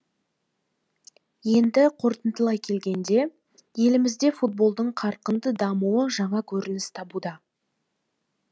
енді қорытындылай келгенде елімізде футболдың қарқынды дамуы жаңа көрініс табуда